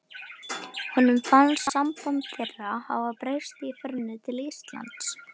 Honum fannst samband þeirra hafa breyst í ferðinni til Íslands.